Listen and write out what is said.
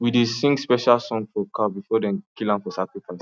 we dey sing special song for cow before dem kill am for sacrifice